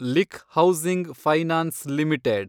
ಲಿಕ್ housing finance limited